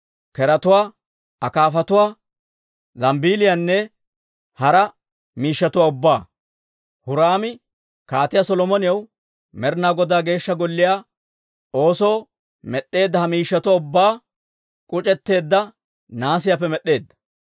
keretuwaa, akaafatuwaa, zambeeliyaanne hara miishshatuwaa ubbaa. Huraami Kaatiyaa Solomonaw Med'inaa Godaa Geeshsha Golliyaa oosoo med'd'eedda ha miishshatuwaa ubbaa k'uc'etteedda nahaasiyaappe med'd'eedda.